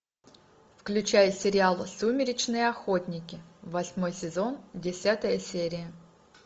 включай сериал сумеречные охотники восьмой сезон десятая серия